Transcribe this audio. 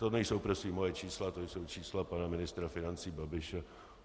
To nejsou prosím moje čísla, to jsou čísla pana ministra financí Babiše.